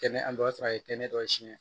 Kɛnɛ an b'a sɔrɔ a ye tɛnɛ dɔ siyɛn